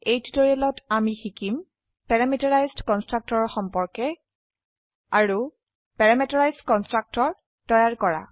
এই টিউটোৰিয়েলত আমি শিকিম পেৰামিটাৰাইজড কনষ্ট্ৰাক্টৰ ৰ সম্পৰ্কে আৰুparameterized কনষ্ট্ৰাক্টৰ তৈয়াৰ কৰা